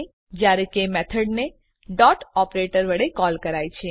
જયારે કે મેથડ ને ડોટ ઓપરેટર વડે કોલ કરાય છે